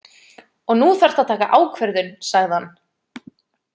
Og nú þarftu að taka ákvörðun, sagði hann.